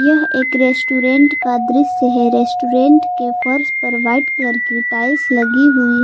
यह एक रेस्टोरेंट का दृश्य है रेस्टोरेंट के फर्श पर वाइट कलर की टाइल्स लगी हुई है।